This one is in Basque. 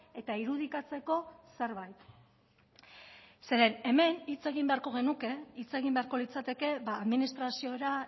eta irudikatzeko zerbait zeren hemen hitz egin beharko genuke hitz egin beharko litzateke administraziora